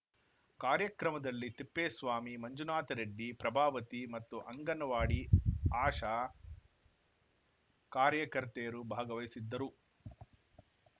ಕಾರ್ಯಕ್ರಮದಲ್ಲಿ ತಿಪ್ಪೇಸ್ವಾಮಿ ಮಂಜುನಾಥ ರೆಡ್ಡಿ ಪ್ರಭಾವತಿ ಮತ್ತು ಅಂಗನವಾಡಿ ಆಶಾ ಕಾರ್ಯಕರ್ತೆಯರು ಭಾಗವಹಿಸಿದ್ದರು